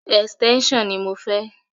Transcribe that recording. Extension ni mo fẹ́.